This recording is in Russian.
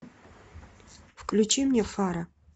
включи мне фара